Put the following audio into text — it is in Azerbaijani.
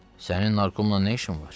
"Sənin narkomla nə işin var?"